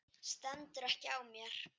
Stendur ekki á mér.